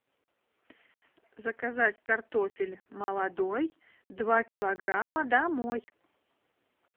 заказать картофель молодой два килограмма домой